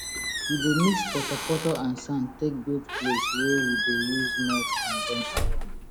we dey mix poto poto and sand take build place wey we dey use melt condem iron